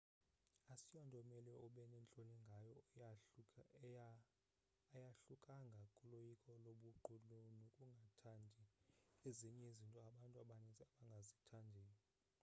asiyonto omele ube nentloni ngayo ayahlukanga kuloyiko lobuqu nokungathandii ezinye izinto abantu abaninzi abangazithandiyo